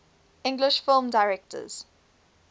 english film directors